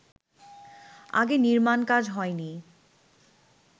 আগে নির্মাণকাজ হয়নি